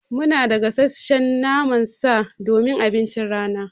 Munada gasasshen naman sa don abincin rana.